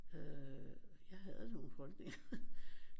Øh jeg havde nogle holdninger